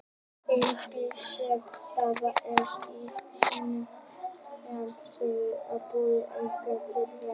En bíll, sem haldið er síungum með þessu móti, er engum til gagns.